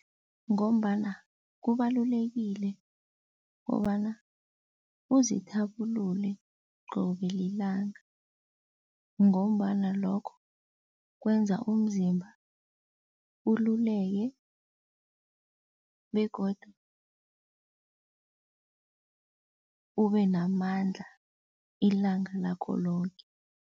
Ngombana kubalulekile kobana uzithabulule qobe lilanga ngombana lokho kwenza umzimba ululeke begodu ube namandla ilanga lakho loke.